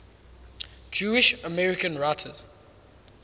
jewish american writers